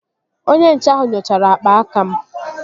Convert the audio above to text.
Onye nche ahụ nyochara akpa aka m